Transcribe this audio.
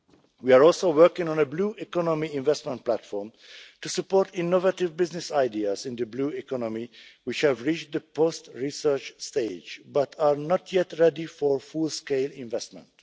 We are also working on a Blue Economy Investment Platform to support innovative business ideas in the blue economy that have reached the post research stage, but are not yet ready for full scale investment.